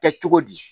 Kɛ cogo di